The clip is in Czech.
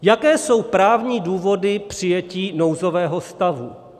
Jaké jsou právní důvody přijetí nouzového stavu?